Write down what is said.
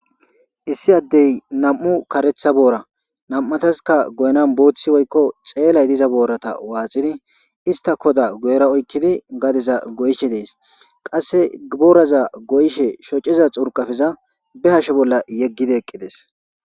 Issi addey nam7u karetha boora nam7ataska goynan booththi woykko xeelay diza boorata waaxidi ista koda goyra oykkidi gadeza goyishe dees qasse gibooraza goyishe shociza xurqafiza be hashe bolla yeggidi eqqides.